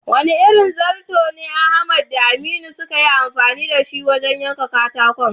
Wane irin zato ne Ahmad da Aminu suka yi amfani da shi wajen yanka katako?